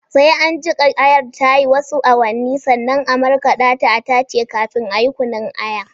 Zai an jiƙa Ayar tayi wasu awannin sannan a markaɗa ta a tace kafi nan ayi kunnun Aya